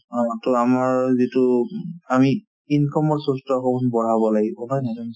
অ, to আমাৰ যিটো আমি income ৰ source তো আকৌ আমি বঢ়াব লাগিব নহয় জানো